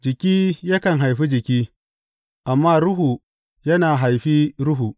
Jiki yakan haifi jiki, amma Ruhu yana haifi ruhu.